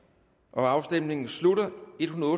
afstemningen slutter for